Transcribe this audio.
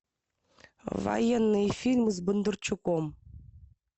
военные фильмы с бондарчуком